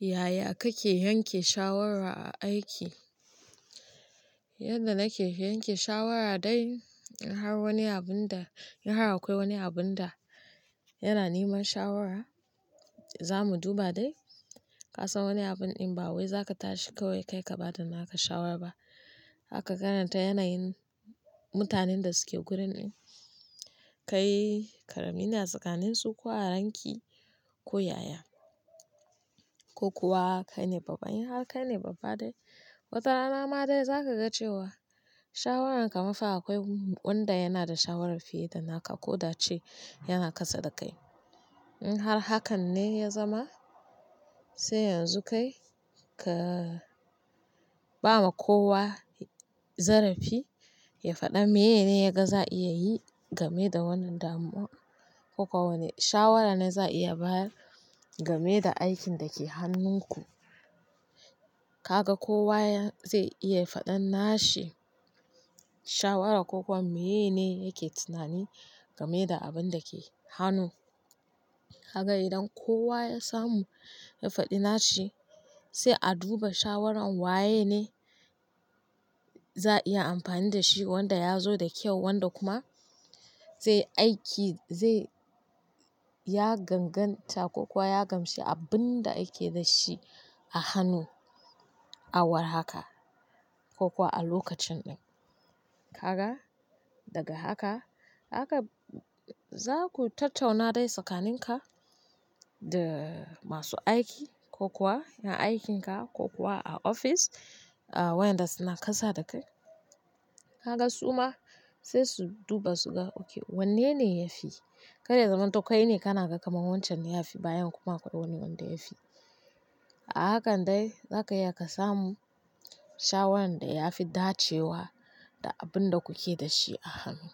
Yaya kake yanke shawara a aiki? Yanda nake yanke shawara dai, in har wani abinda in har akwai wani abun da yana neman shawara, za mu duba dai. Ka san wani abun in ba wai za ka tashi kawai ka ba da naka shawara ba. Haka ka ganinta, yanayin mutanen da suke gurin in kai ƙarami ne tsakaninsu ko a ranki, ko yaya, ko kuwa kai ne babba. In har kai ne babba dai, watarana ma dai za ka ga cewa shawararka mafa akwai wanda yana da shawara fiye da naka ko dace yana kasa da kai. In har hakan ne ya zama, sai yanzu kai ka ba ma kowa zarafi ya faɗa me ne ya ga za a iya yi game da wannan damuwa ko kuwa wane shawara ne za a iya baya game da aikin da ke hannunku. Kaga kowa zai iya faɗan nashi shawara ko kuwa meyene yake tunani game da abun da ke hannu. Kaga idan kowa ya samu ya faɗi nashi, sai a duba shawaran waye ne za a iya amfani da shi, wanda ya zo da kyau wanda kuma zai aiki zai, ya ganganta ko kuwa ya gamshi abun da ake da shi a hannu, a war haka ko kuwa a lokacin ɗin. Haka, daga haka, haka za ku tattauna dai tsakaninka da masu aiki ko kuwa na aikinka ko kuwa a ofis, wayanda suna kasa da kai. Haka su ma sai su duba su ga, oke wanne ne ya fi. Kai ya zamanto kai ne, kana ga kamar wancan ya fi bayan kuma akwai wani wanda ya fi. A hakan dai, za ka iya ka samu shawaran da ya fi dacewa da abin da kuke da shi a hannu.